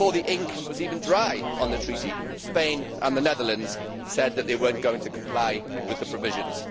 Before the ink was even dry on the treaty, Spain and the Netherlands said that they were not going to comply with its provisions.